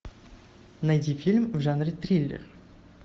найди фильм в жанре триллер